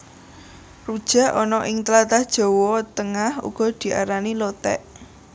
Rujak ana ing tlatah Jawa Tengah uga diarani Lothék